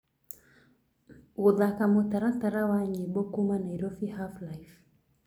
gũthaka mũtaratara wa nyĩmbo kũũma Nairobi half life